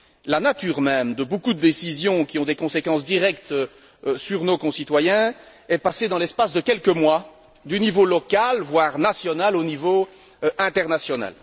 La nature même de beaucoup de décisions qui ont des conséquences directes sur nos concitoyens est passée dans l'espace de quelques mois du niveau local, voire national, au niveau international.